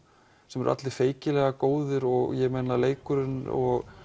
sem eru allir feykilega góðir og leikurinn og